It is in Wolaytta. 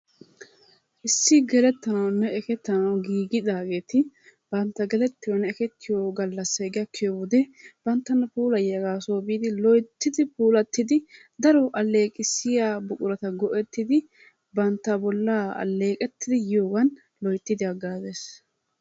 Issi gelettanawunne eketanawu giigidaagetti bantta ekettiyonne gelettiyo galassay gakkiyo wode banttana puullayiyaagaa soo biidi loyttidi pulattidi daro aleeqqissiya buqqurata go'ettidi bantta bollaa aleeqettidi yiyogan loyttidi hagaazees.